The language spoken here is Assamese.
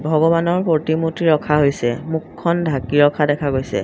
ভগৱানৰ প্ৰতিমূৰ্তি ৰখা হৈছে মুখখন ঢাকি ৰখা দেখা গৈছে।